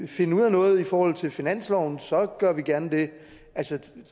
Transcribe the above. finde ud af noget i forhold til finansloven så gør vi gerne det altså